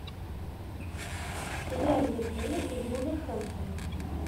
игра ливерпуля и вулверхэмптона